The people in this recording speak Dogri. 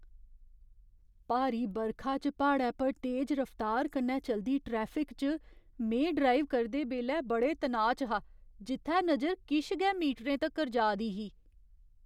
भारी बरखा च प्हाड़ै पर तेज रफ्तार कन्नै चलदी ट्रैफिक च में ड्राइव करदे बेल्लै बड़े तनाऽ च हा जित्थै नजर किश गै मीटरें तक्कर जा दी ही।